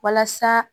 Walasa